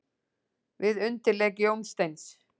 Við undirleik Jónsteins.